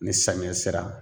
Ni samiya sera